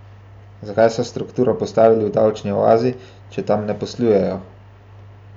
Zakaj so strukturo postavili v davčni oazi, če tam ne poslujejo?